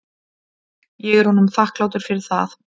Ég er honum þakklátur fyrir það.